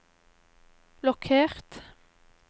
blokkert